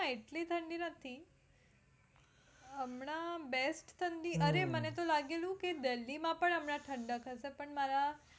એટલી ઠંડી નથી અમ હમણાં best ઠંડી અરે મને તો લાગેલું કે delhi માં પણ હમણાં ઠંડક હશે પણ મારા.